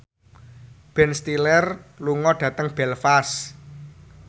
Ben Stiller lunga dhateng Belfast